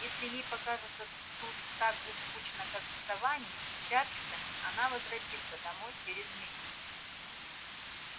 если ей покажется тут так же скучно как в саванне и чарльстоне она возвратится домой через месяц